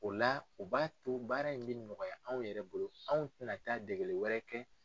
O la o b'a to baara in bɛ nɔgɔya anw yɛrɛ bolo anw tɛna taa degeli wɛrɛ kɛ.